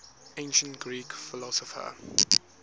ancient greek philosopher